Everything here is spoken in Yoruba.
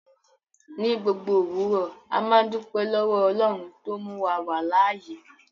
Ní gbogbo owurọ̀, àmà n dúpẹ̀ lọ́wọ̀ Ọlọ́run tó múwa wà láàyè.